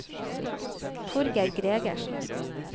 Torgeir Gregersen